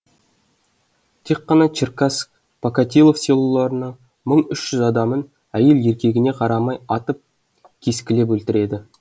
тек қана черкасск покатилов селоларының мың үш жүз адамын әйел еркегіне қарамай атып кескілеп өлтіреді